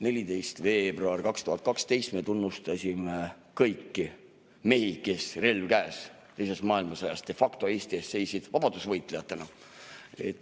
14. veebruaril 2012 me tunnustasime kõiki mehi, kes teises maailmasõjas, relv käes, de facto Eesti eest seisid, vabadusvõitlejatena.